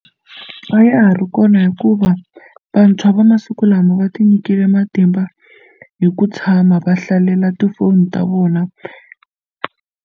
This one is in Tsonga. A ya ha ri kona hikuva vantshwa va masiku lama va tinyikile matimba hi ku tshama va hlalela tifoni ta vona.